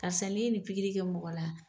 Karisa nin pir ye nin pikiri kɛ mɔgɔ la